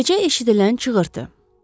Gecə eşidilən çığırtı.